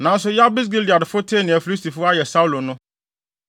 Nanso Yabes Gileadfo tee nea Filistifo ayɛ Saulo no,